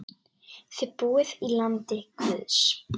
Þið búið í landi guðs.